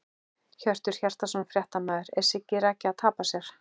Hjörtur Hjartarson, fréttamaður: Er Siggi Raggi að tapa sér?!